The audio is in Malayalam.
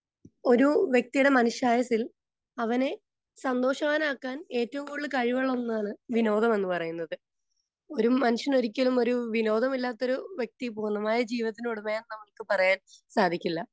സ്പീക്കർ 2 ഒരു വ്യക്തിയുടെ മനുഷ്യായുസ്സിൽ അവനെ സന്തോഷവാനാക്കാൻ ഏറ്റവും കൂടുതൽ കഴിവുള്ള ഒന്നാണ് വിനോദം എന്ന് പറയുന്നത്. ഒരു മനുഷ്യൻ ഒരിക്കലും ഒരു വിനോദമില്ലാത്തൊരു വ്യക്തി പൂർണ്ണമായ ജീവിതത്തിനുടമയാണെന്ന് നമുക്ക് പറയാൻ സാധിക്കില്ല.